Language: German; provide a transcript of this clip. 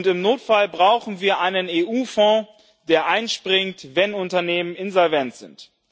Im Notfall brauchen wir einen EU Fonds, der einspringt, wenn Unternehmen insolvent sind.